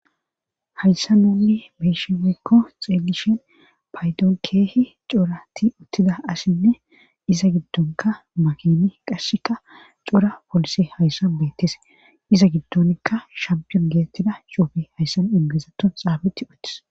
hayssa nonni beshinwikko xeelishen paydon keehi corati uttida assinne iza giddonka makini qasseka cora polise hayssan bettese iza giddonikka shampiyon geetettida chuufi hayssan ingesaton xaabeti uttis